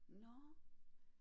Nåh